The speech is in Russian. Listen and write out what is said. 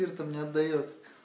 спиртом не отдаёт